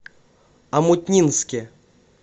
омутнинске